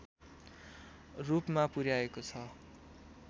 रूपमा पुर्‍याएको छ